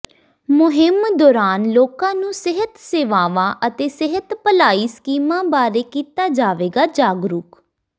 ਮੁਹਿੰਮ ਦੌਰਾਨ ਲੋਕਾਂ ਨੂੰ ਸਿਹਤ ਸੇਵਾਵਾਂ ਅਤੇ ਸਿਹਤ ਭਲਾਈ ਸਕੀਮਾਂ ਬਾਰੇ ਕੀਤਾ ਜਾਵੇਗਾ ਜਾਗਰੂਕ